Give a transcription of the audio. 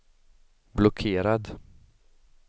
blockerad